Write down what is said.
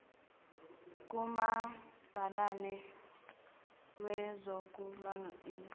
kumabhalane wezokul ingana